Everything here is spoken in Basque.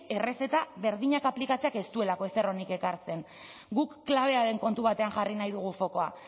errezeta berdinak aplikatzeak ez duelako ezer onik ekartzen guk klabea den kontu batean jarri nahi dugu fokua